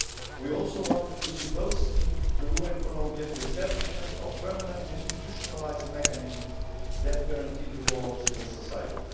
We also want to see both in Peru and Colombia the establishment of permanent institutionalised mechanisms that guarantee the role of civil society.